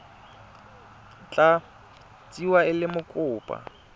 tla tsewa e le mokopa